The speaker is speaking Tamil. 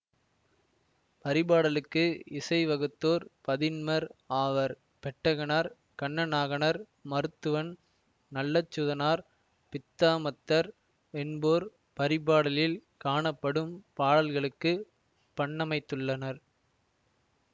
பரிபாடலுக்கு இசைவகுத்தோர் பதின்மர் ஆவர் பெட்டகனார் கண்ணனாகனார் மருத்துவன் நல்லச்சுதனார் பித்தாமத்தர் என்போர் பரிபாடலில் காணப்படும் பாடல்களுக்கு பண்ணமைத்துள்ளனர்